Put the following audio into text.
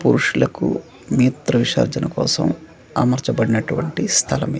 పురుషులకు మీత్ర విసర్జన కోసం అమర్చబడినటువంటి స్థలమి--